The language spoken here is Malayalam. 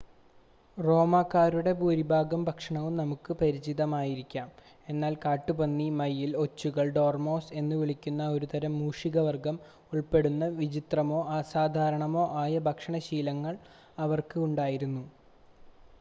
റോമാക്കാരുടെ ഭൂരിഭാഗം ഭക്ഷണവും നമുക്ക് പരിചിതമായിരിക്കാം എന്നാൽ കാട്ടുപന്നി മയിൽ ഒച്ചുകൾ ഡോർമോസ് എന്നുവിളിക്കുന്ന ഒരുതരം മൂഷികവർഗം ഉൾപ്പെടുന്ന വിചിത്രമോ അസാധാരണമോ ആയ ഭക്ഷണ ശീലങ്ങൾ അവർക്ക് ഉണ്ടായിരുന്നു